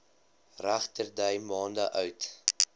regterdy maande oud